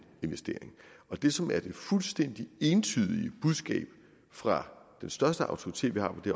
og det som er det fuldstændig entydige budskab fra den største autoritet vi har på det